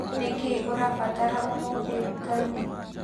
Nĩ kĩĩ ũrabatara ũmũthĩ nduka-inĩ?